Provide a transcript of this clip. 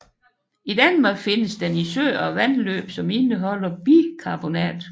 I Danmark findes den i søer og vandløb som indeholder bikarbonat